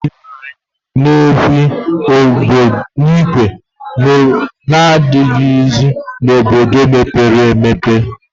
Isi nri n'ekwu ìgwè adịghịzi n'obodo mepere emepe